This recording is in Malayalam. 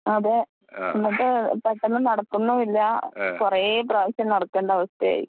അത് എന്നിറ്റ് പെട്ടെന്ന് നടക്കുന്നൂല്ല, കുറെ പ്രവശ്യം നടക്കേണ്ട അവസ്ഥയായി.